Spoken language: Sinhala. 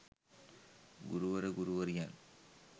ගුරුවර ගුරුවරියන්